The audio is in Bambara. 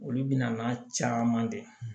Olu bɛna n'a caman de ye